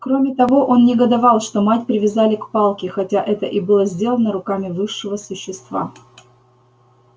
кроме того он негодовал что мать привязали к палке хотя это и было сделано руками высшего существа